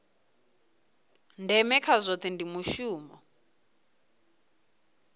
ndeme kha zwohe ndi mushumo